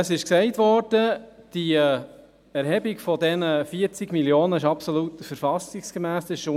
Die Erhebung dieser 40 Mio. Franken ist absolut verfassungsmässig.